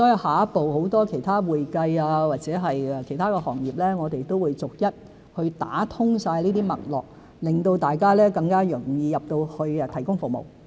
下一步，如會計或其他行業，我們也會逐一打通這些脈絡，令大家更容易進入大灣區提供服務。